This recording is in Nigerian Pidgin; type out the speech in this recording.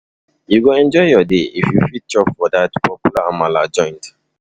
You go enjoy your day if you fit chop for dat popular amala joint.